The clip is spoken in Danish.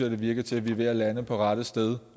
det virker til at vi er ved at lande på rette sted